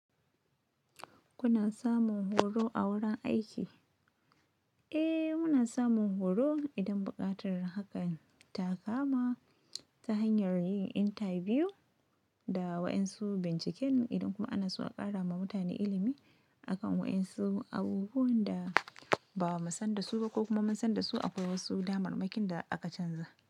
Kuna samun horo a wurin aiki? Eh muna samun horo idan buƙatar hakan ta kama ta hanyar yin intabiyu da wa'yansu binciken idan kuma ana so a ƙara ma mutane ilimi akan wa'yansu abubuwan da ba mu san dasu ba ko kuma mu san dasu akwai wasu damarmakin da aka canza.